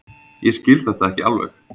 Ég skil þetta ekki alveg.